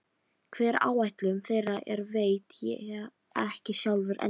Hver áætlun þeirra er veit ég ekki sjálfur ennþá.